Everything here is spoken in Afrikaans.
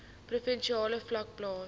provinsiale vlak plaas